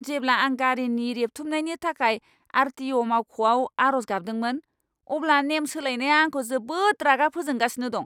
जेब्ला आं गारिनि रेबथुमनायनि थाखाय आर.टि.अ'. मावख'आव आर'ज गाबदोंमोन, अब्ला नेम सोलायनाया आंखौ जोबोद रागा फोजोंगासिनो दं!